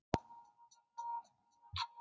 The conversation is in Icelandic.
Kristófer, áttu tyggjó?